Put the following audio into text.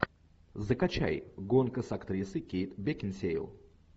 закачай гонка с актрисой кейт бекинсейл